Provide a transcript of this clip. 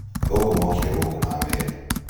athũngũ mookire gũũkũ na meeri